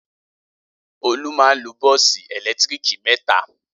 Olú máa ń lo bọ́ọ́sì ẹ̀lẹ́tíríkì mẹ́ta.